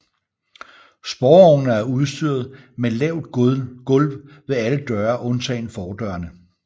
Sporvognene er udstyret med lavt gulv ved alle døre undtagen fordørene